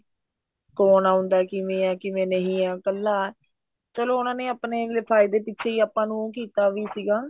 ਕੋਣ ਆਉਂਦਾ ਕਿਵੇਂ ਏ ਕਿਵੇਂ ਨਹੀਂ ਹੈ ਇੱਕਲਾ ਚਲੋ ਉਹਨਾ ਨੇ ਆਪਣੇ ਫਾਇਦੇ ਪਿੱਛੇ ਹੀ ਆਪਾਂ ਨੂੰ ਕੀਤਾ ਵੀ ਸੀਗਾ